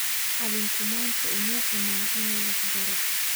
Macalinku maanta uma iman inuu wax baro